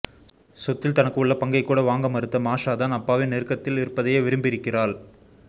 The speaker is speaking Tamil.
சொத்தில் தனக்கு உள்ள பங்கை கூட வாங்க மறுத்த மாஷா தான் அப்பாவின் நெருக்கத்தில் இருப்பதையே விரும்பியிருக்கிறாள்